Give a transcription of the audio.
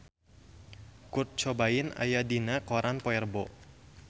Kurt Cobain aya dina koran poe Rebo